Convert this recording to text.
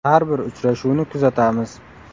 Har bir uchrashuvni kuzatamiz.